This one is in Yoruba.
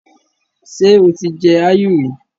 Ṣé o ti jẹ áyù rí?